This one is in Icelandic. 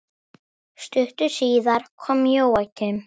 Stuttu síðar kom Jóakim.